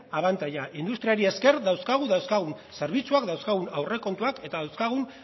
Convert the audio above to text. abantaila industriari esker dauzkagu dauzkagun zerbitzuak dauzkagun aurrekontuak eta dauzkagun